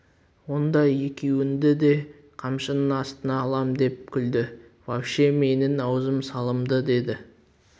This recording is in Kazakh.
онда екеуіңді де қамшының астына алам деп күлді вообще менің аузым салымды деді